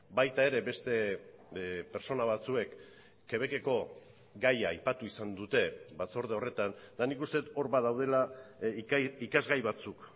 baita ere beste pertsona batzuek quebec eko gaia aipatu izan dute batzorde horretan eta nik uste dut hor badaudela ikasgai batzuk